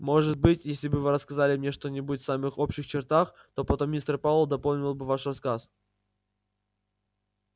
может быть если бы вы рассказали мне что-нибудь в самых общих чертах то потом мистер пауэлл дополнил бы ваш рассказ